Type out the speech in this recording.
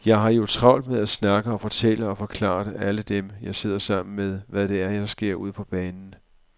Jeg har jo travlt med at snakke og fortælle og forklare alle dem, jeg sidder sammen med, hvad det er, der sker ude på banen.